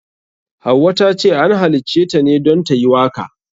Hauwa tace an halitaceta ne don tayi waka.